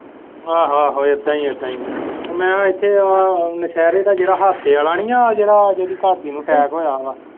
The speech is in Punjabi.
ਆਹੋ ਆਹੇ ਇੱਦਾਂ ਹੀ ਹੈ ਇੱਦਾਂ ਹੀ ਹੈ ਮੈਂ ਇੱਥੇ ਆਹ ਨਸ਼ਹਿਰੇ ਦਾ ਜਿਹੜਾ ਅਹਾਤੇ ਆਲਾ ਨੀ ਆਹ ਜਿਹੜਾ ਜਿਹੜੀ ਘਰਦੀ ਨੂੰ attack ਹੋਇਆ ਵਾ।